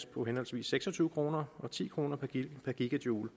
på henholdsvis seks og tyve kroner og ti kroner per gigajoule